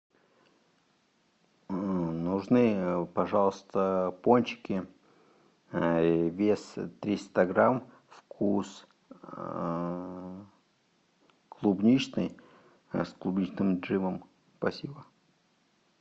нужны пожалуйста пончики вес триста грамм вкус клубничный с клубничным джемом спасибо